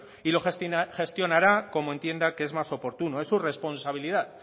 y lo gestionará como entienda que es más oportuno es su responsabilidad